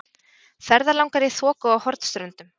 Ferðalangar í þoku á Hornströndum.